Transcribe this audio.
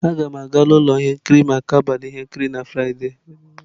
Aga m aga ụlọ ihe nkiri maka abalị ihe nkiri na Fraịde.